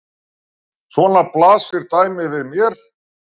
Svona blasir dæmið við mér.